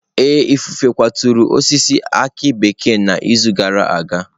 Ee, ifufe kwaturu osisi aki bekee n'izu gara aga.